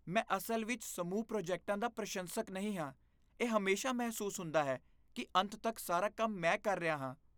ਮੈਂ ਅਸਲ ਵਿੱਚ ਸਮੂਹ ਪ੍ਰੋਜੈਕਟਾਂ ਦਾ ਪ੍ਰਸ਼ੰਸਕ ਨਹੀਂ ਹਾਂ, ਇਹ ਹਮੇਸ਼ਾ ਮਹਿਸੂਸ ਹੁੰਦਾ ਹੈ ਕਿ ਅੰਤ ਤੱਕ ਸਾਰਾ ਕੰਮ ਮੈਂ ਕਰ ਰਿਹਾ ਹਾਂ..